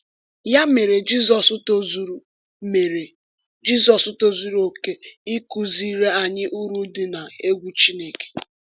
Ya mere, Jizọs tozuru mere, Jizọs tozuru oke ịkụziri anyị uru dị n’egwu Chineke.